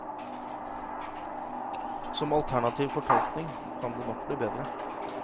Som alternativ fortolkning kan det nok bli bedre.